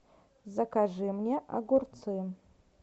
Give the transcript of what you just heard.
закажи мне огурцы